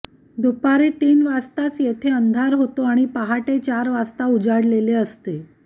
दुपारी तीन वाजताच येथे अंधार होतो आणि पहाटे चार वाजता उजाडलेले असते